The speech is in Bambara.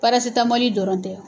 Parasitamɔli dɔrɔn tɛ.